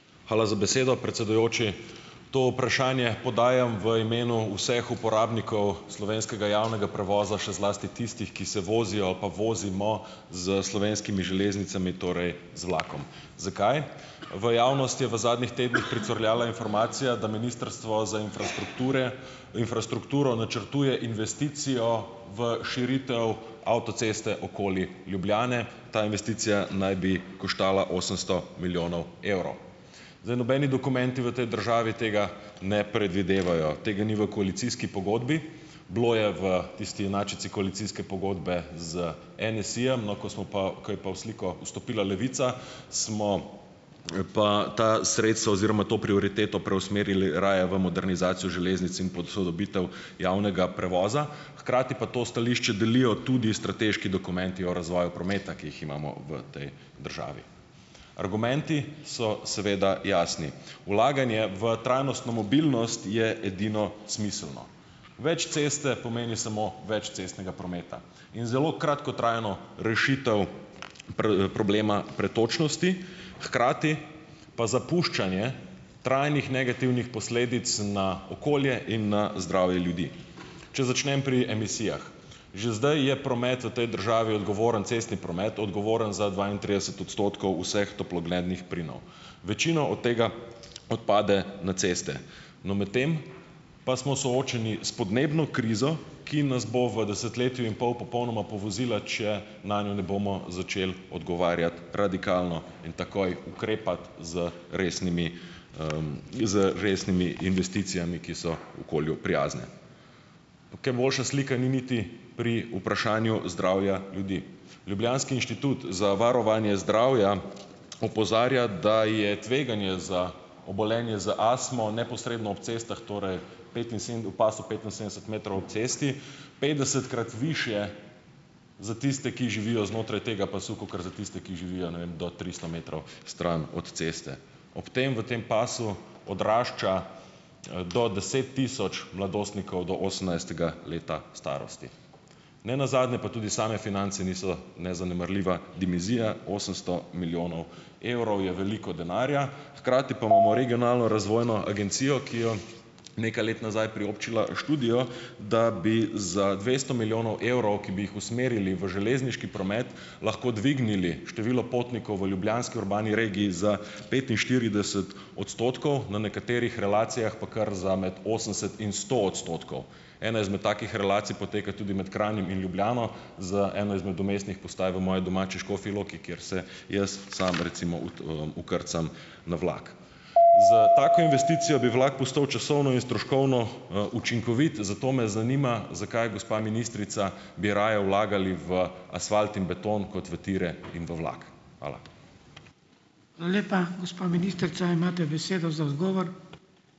Hvala za besedo, predsedujoči. To vprašanje podajam v imenu vseh uporabnikov slovenskega javnega prevoza, še zlasti tistih, ki se vozijo pa vozimo s Slovenskimi železnicami, torej z vlakom. Zakaj? V javnost je v zadnjih tednih pricurljala informacija, da Ministrstvo za infrastrukture infrastrukturo, načrtuje investicijo v širitev avtoceste okoli Ljubljane. Ta investicija naj bi koštala osemsto milijonov evrov. Zdaj, nobeni dokumenti v tej državi tega ne predvidevajo. Tega ni v koalicijski pogodbi, bilo je v tisti inačici koalicijske pogodbe z NSi-jem, no, ko smo pa, ko je pa v sliko vstopila Levica, smo pa ta sredstva oziroma to prioriteto preusmerili raje v modernizacijo železnic in posodobitev javnega prevoza, hkrati pa to stališče delijo tudi strateški dokumenti o razvoju prometa, ki jih imamo v tej državi. Argumenti so seveda jasni. Vlaganje v trajnostno mobilnost je edino smiselno. Več ceste pomeni samo več cestnega prometa in zelo kratkotrajno rešitev pri problemu pretočnosti, hkrati pa zapuščanje trajnih negativnih posledic na okolje in na zdravje ljudi. Če začnem pri emisijah, že zdaj je promet v tej državi odgovoren, cestni promet, odgovoren za dvaintrideset odstotkov vseh toplogrednih plinov. Večino od tega odpade na ceste. No, medtem pa smo soočeni s podnebno krizo, ki nas bo v desetletju in pol popolnoma povozila, če nanjo ne bomo začeli odgovarjati radikalno in takoj ukrepati z resnimi, z resnimi investicijami, ki so okolju prijazne. Kaj boljša slika ni niti pri vprašanju zdravja ljudi. Ljubljanski inštitut za varovanje zdravja opozarja, da je tveganje za obolenje za astmo, neposredno ob cestah, torej v pasu petinsedemdeset metrov ob cesti, petdesetkrat višje za tiste, ki živijo znotraj tega pasu, kakor za tiste, ki živijo, ne vem, do tristo metrov stran, od ceste. Ob tem, v tem pasu, odrašča do deset tisoč mladostnikov do osemnajstega leta starosti. Ne nazadnje, pa tudi same finance niso nezanemarljiva dimenzija - osemsto milijonov evrov je veliko denarja, hkrati pa imamo regionalno razvojno agencijo, ki jo nekaj let nazaj priobčila študijo, da bi za dvesto milijonov evrov, ki bi jih usmerili v železniški promet, lahko dvignili število potnikov v ljubljanski urbani regiji za petinštirideset odstotkov, na nekaterih relacijah pa kar za med osemdeset in sto odstotkov. Ena izmed takih relacij poteka tudi med Kranjem in Ljubljano, za eno izmed vmesnih postaj v moji domači Škofji loki, kjer se jaz samo recimo vkrcam na vlak. S tako investicijo bi vlak postal časovno in stroškovno, učinkovit, zato me zanima, zakaj, gospa ministrica, bi raje vlagali v asfalt in beton kot v tire in v vlak. Hvala.